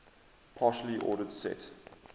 partially ordered set